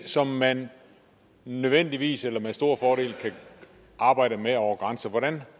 som man nødvendigvis eller med stor fordel kan arbejde med over grænserne